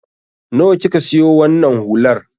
Nawa ka siyo wannan hular?